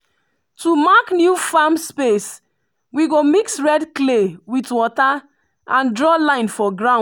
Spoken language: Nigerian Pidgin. to mark new farm space we go mix red clay with water and draw line for ground.